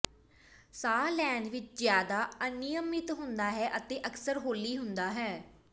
ਸਾਹ ਲੈਣ ਵਿਚ ਜ਼ਿਆਦਾ ਅਨਿਯਮਿਤ ਹੁੰਦਾ ਹੈ ਅਤੇ ਅਕਸਰ ਹੌਲੀ ਹੁੰਦਾ ਹੈ